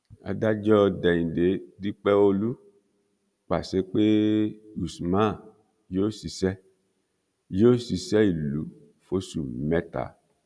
adájọ déhìndé dípẹọlù pàṣẹ pé usman yóò ṣiṣẹ yóò ṣiṣẹ ìlú fóṣù mẹta